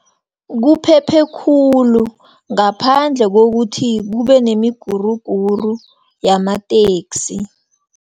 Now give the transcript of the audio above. Kuphephe khulu, ngaphandle kokuthi kubenemiguruguru yamateksi.